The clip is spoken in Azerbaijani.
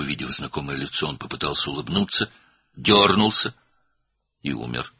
Tanış üzü görən kimi gülümsəməyə çalışdı, sıçradı və öldü.